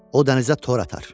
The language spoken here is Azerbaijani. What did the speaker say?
O dənizə tor atar.